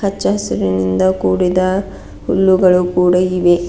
ಹಚ್ಚಾಹಸಿರಿನಿಂದ ಕೂಡಿದ ಹುಲ್ಲುಗಳು ಕೂಡ ಇದೆ.